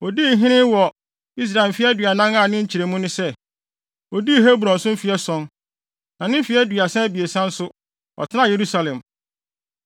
Odii hene wɔ Israel mfe aduanan a ne nkyerɛmu ne sɛ, odii Hebron so mfe ason, na mfe aduasa abiɛsa nso, ɔtenaa Yerusalem.